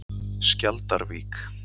Skjaldarvík